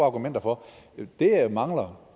argumenter for det jeg mangler